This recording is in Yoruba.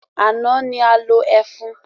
Àná ni a lo ẹfun.